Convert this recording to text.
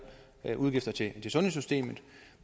udgifter til sundhedssystemet